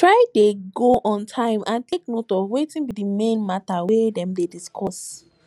try de go on time and take note of wetin be di main matter wey dem de discuss